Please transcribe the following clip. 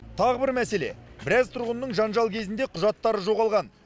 тағы бір мәселе біраз тұрғынның жанжал кезінде құжаттары жоғалған